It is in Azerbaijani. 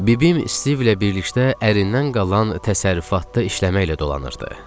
Bibim Stivlə birlikdə ərindən qalan təsərrüfatda işləməklə dolanırdı.